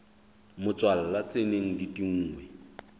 motswalla tse neng di tinngwe